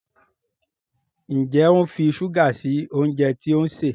Njé o ń fí ṣuga sí oúnjẹ tí òun ṣe?